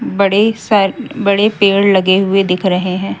बड़े सारे बड़े पेड़ लगे हुए दिख रहे हैं।